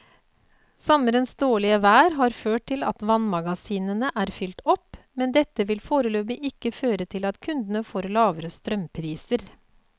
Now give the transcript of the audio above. Sommerens dårlige vær har ført til at vannmagasinene er fylt opp, men dette vil foreløpig ikke føre til at kundene får lavere strømpriser.